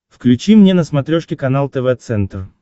включи мне на смотрешке канал тв центр